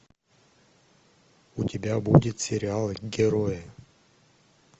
у тебя будет сериал герои